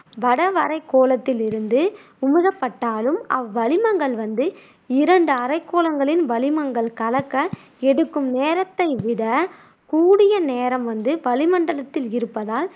வடவரைக்கோளத்தில் இருந்து அவ்வளிமங்கள் வந்து இரண்டு அரைக்கோளங்களின் வளிமங்கள் கலக்க எடுக்கும் நேரத்தை விட கூடிய நேரம் வந்து வளிமண்டலத்தில் இருப்பதால்